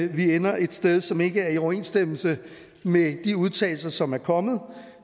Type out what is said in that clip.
vi ender et sted som ikke er i overensstemmelse med de udtalelser som er kommet